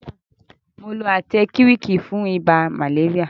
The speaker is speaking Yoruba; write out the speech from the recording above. Mo lo átẹ́kíwíìkì fún ibà màléríà.